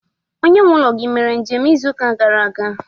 onye nwe ulo gi mere njem izu uka gara aga?